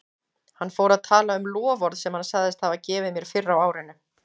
Hann fór að tala um loforð sem hann sagðist hafa gefið mér fyrr á árinu.